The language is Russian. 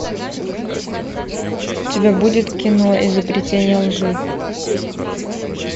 у тебя будет кино изобретение лжи